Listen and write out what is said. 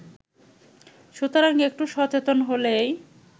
সুতরাং একটু সচেতন হলেই